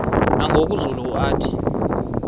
nangoku zulu uauthi